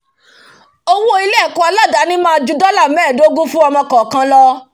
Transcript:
owó ilé ẹ̀kọ́ àládáni máa ju dollar mẹ́ẹ̀dógún fún ọmọ kọ̀ọ̀kan lọ